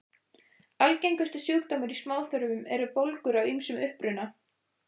Algengustu sjúkdómar í smáþörmum eru bólgur af ýmsum uppruna.